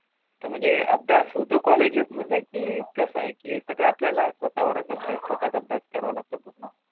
तर म्हणजे अभ्यास होतो कॉलेजेस मध्ये की कस आहे की हे सगळे आपल्याला स्वतः वरच अभ्यास स्वतः च अभ्यास करावा लागतो?